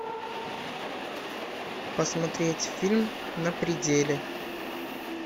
посмотреть фильм на пределе